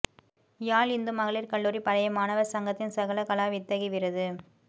யாழ் இந்து மகளிர் கல்லூரி பழைய மாணவர் சங்கத்தின் சகலகலாவித்தகி விருது